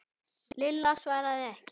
Lilla svaraði ekki.